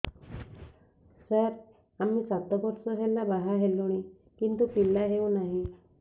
ସାର ଆମେ ସାତ ବର୍ଷ ହେଲା ବାହା ହେଲୁଣି କିନ୍ତୁ ପିଲା ହେଉନାହିଁ